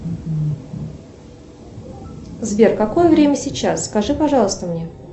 сбер какое время сейчас скажи пожалуйста мне